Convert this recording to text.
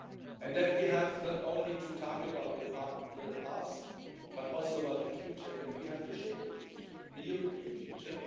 and that we have not only to talk about the past but also about the future and that we have to shape the future, the European future.